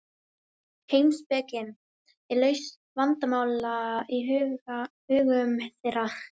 heimspekin er lausn vandamála í hugum þeirra